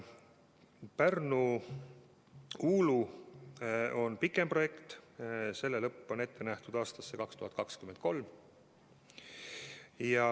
Pärnu–Uulu lõik on pikem projekt, selle lõpp on ette nähtud aastaks 2023.